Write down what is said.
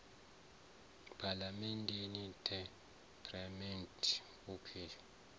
phalamenndeni the parliamentary women s